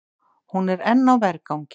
Hún er enn á vergangi.